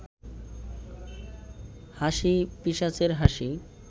হাসি পিশাচের হাসি